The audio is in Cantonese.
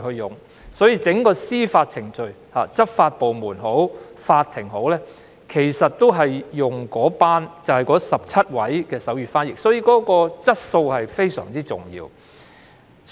因此，在整個司法程序中，不論是執法部門或法庭，均會聘用該17名手語傳譯員，因此手語傳譯的質素非常重要。